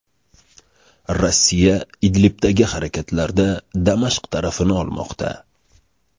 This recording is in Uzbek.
Rossiya Idlibdagi harakatlarda Damashq tarafini olmoqda.